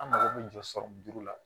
An mago bɛ jɔ la